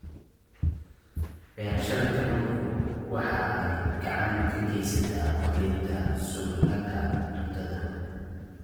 Beerashada kalluunku waxay gacan ka geysataa kordhinta sugnaanta cuntada.